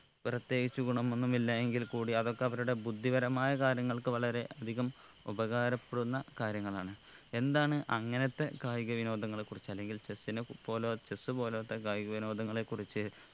പ്രത്യേകിച്ച് ഗുണം ഒന്നും ഇല്ലാ എങ്കിൽകൂടി അതൊക്കെ അവരുടെ ബുദ്ധിപരമായ കാര്യങ്ങൾക്ക് വളരെ അധികം ഉപകാരപ്പെടുന്ന കാര്യങ്ങളാണ് എന്താണ് അങ്ങനത്തെ കായിക വിനോദങ്ങളെ കുറിച്ച് അല്ലെങ്കിൽ chess നെ പോലോ chess പോലോത്ത കായിക വിനോദങ്ങളെ കുറിച്ച്